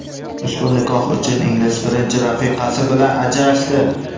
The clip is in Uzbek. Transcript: Ushbu nikoh uchun ingliz birinchi rafiqasi bilan ajrashdi.